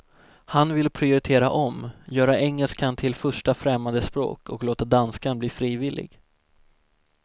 Han vill prioritera om, göra engelskan till första främmande språk och låta danskan bli frivillig.